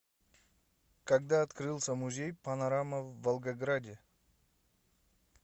когда открылся музей панорама в волгограде